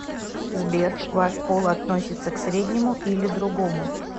сбер ваш пол относится к среднему или другому